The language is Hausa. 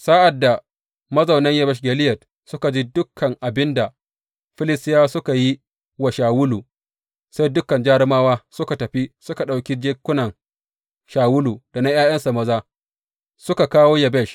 Sa’ad da mazaunan Yabesh Gileyad suka ji dukan abin da Filistiyawa suka yi wa Shawulu, sai dukan jarumawa suka tafi suka ɗauki jikunan Shawulu da na ’ya’yansa maza suka kawo Yabesh.